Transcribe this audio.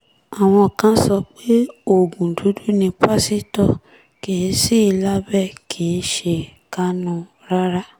àwọn kan sọ pé oògùn dúdú ni pásítọ̀ kì sí i lábẹ́ kì í ṣe kánun rárá